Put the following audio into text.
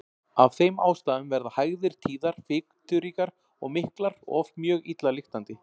Af þeim ástæðum verða hægðir tíðar, fituríkar, miklar og oft mjög illa lyktandi.